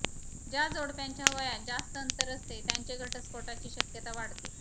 ज्या जोडप्यांच्या वयात जास्त अंतर असते त्यांचे घटस्फोटाची शक्यता वाढते